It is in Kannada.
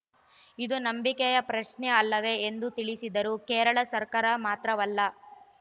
ಇದು ನಂಬಿಕೆಯ ಪ್ರಶ್ನೆ ಅಲ್ಲವೆ ಎಂದು ತಿಳಿಸಿದರು ಕೇರಳ ಸರ್ಕಾರ ಮಾತ್ರವಲ್ಲ